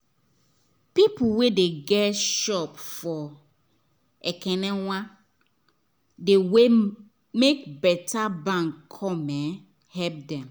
people wen dey get shop for ekenewan dey wait make better bank come um help them